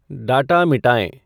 data मिटायें